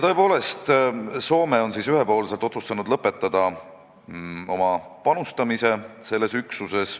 Tõepoolest, Soome on ühepoolselt otsustanud lõpetada oma panustamise selles üksuses.